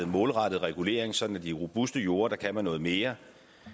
målrettet regulering sådan at de robuste jorde kan noget mere